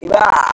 Wa